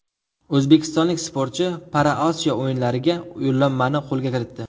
O‘zbekistonlik sportchi ParaOsiyo o‘yinlariga yo‘llanmani qo‘lga kiritdi.